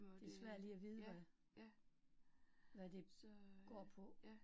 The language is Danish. Det svært lige at vide, hvad, hvad det går på